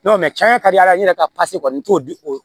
cɛn yɛrɛ ka di ala ye ne yɛrɛ ka kɔni n t'o di o